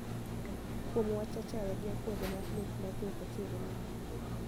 kuom wach achaya gi akwede mar nek majo rachere nigo